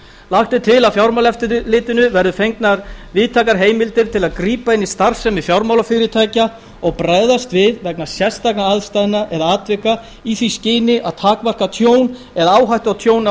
er til að fjármálaeftirlitinu verði fengnar víðtækar heimildir til að grípa inn í starfsemi fjármálafyrirtækja og bregðast við vegna sérstakra aðstæðna eða atvika í því skyni að takmarka tjón eða hættu á tjóni á